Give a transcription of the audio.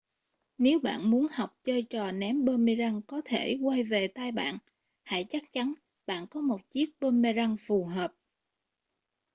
nếu bạn muốn học chơi trò ném boomerang có thể quay về tay bạn hãy chắc chắn bạn có một chiếc boomerang phù hợp